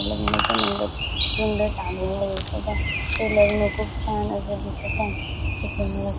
लग्नाचा मंडप खूप सुंदर टांगलेला दिसत आहे हे लग्न खूप छान अस दिसत आहे इथे मोर --